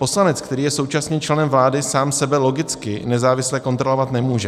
Poslanec, který je současně členem vlády, sám sebe logicky nezávisle kontrolovat nemůže.